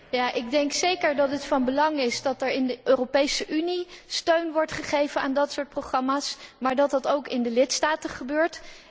Ja, ik denk zeker dat het van belang is dat er in de Europese Unie steun wordt gegeven aan dat soort programma's, maar het moet ook in de lidstaten gebeuren.